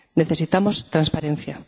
Necesitamos transparencia.